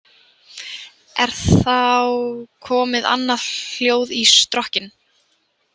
Er þá komið annað hljóð í strokkinn.